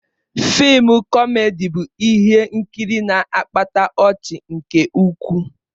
Fịịm kọmedi bụ ihe nkiri na-akpata ọchị nke ukwuu.